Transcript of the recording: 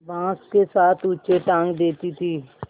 बाँस के साथ ऊँचे टाँग देती थी